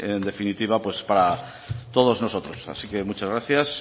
en definitiva pues para todos nosotros así que muchas gracias